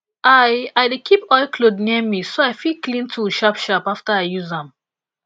i i dey keep oilcloth near me so i fit clean tool sharp sharp after i use am